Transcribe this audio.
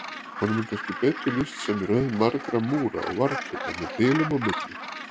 Honum er kannski betur lýst sem röð margra múra og varðturna með bilum á milli.